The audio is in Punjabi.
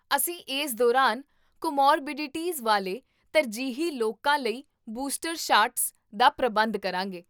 ਅਸੀਂ ਇਸ ਦੌਰਾਨ ਕੋਮੋਰਬਿਡੀਟੀਜ਼ ਵਾਲੇ ਤਰਜੀਹੀ ਲੋਕਾਂ ਲਈ ਬੂਸਟਰ ਸ਼ਾਟਸ ਦਾ ਪ੍ਰਬੰਧ ਕਰਾਂਗੇ